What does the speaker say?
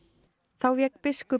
þá vék biskup